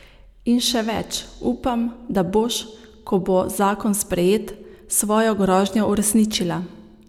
In še več, upam, da boš, ko bo zakon sprejet, svojo grožnjo uresničila.